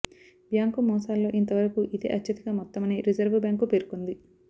bank మోసాల్లో ఇంత వరకు ఇదే అత్యధిక మొత్తమని రిజర్వు బ్యాంకు పేర్కొంది